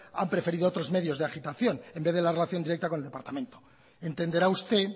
han preferido otros medios de agitación en vez de la relación directa con el departamento entenderá usted